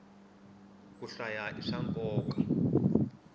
ku hlaya i swa nkoka